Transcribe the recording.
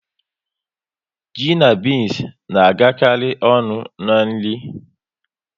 Ji na beans na agakari ọnụ n'nri